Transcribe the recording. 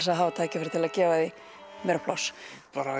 að hafa tækifæri til að gefa því meira pláss